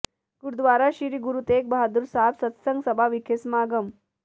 ਗੁਰਦੁਆਰਾ ਸ੍ਰੀ ਗੁਰੂ ਤੇਗ ਬਹਾਦਰ ਸਾਹਿਬ ਸਤਿਸੰਗ ਸਭਾ ਵਿਖੇ ਸਮਾਗਮ